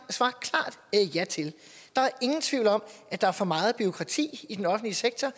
ja til der er ingen tvivl om at der er for meget bureaukrati i den offentlige sektor